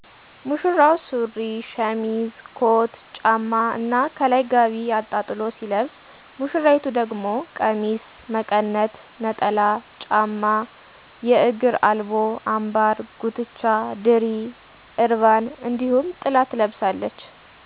ሙሽራው ሱሪ፣ ሸሚዝ፣ ኮት፣ ጫማ እና ከላይ ጋቢ አጣጥሎ ሲለብስ ሙሽራይቱ ደግሞ ቀሚስ፣ መቀነት፣ ነጠላ፣ ጫማ፣ የግር አልቦ፣ አምባር፣ ጉትቻ፣ ድሪ፣ እርቫን እንዲሁም ጥላ ትለብሳለች።